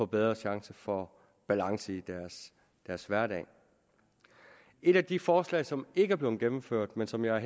bedre chance for at balance i deres hverdag et af de forslag som ikke er blevet gennemført men som jeg